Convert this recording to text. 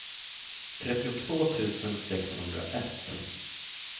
trettiotvå tusen sexhundraett